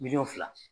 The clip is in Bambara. Miliyɔn fila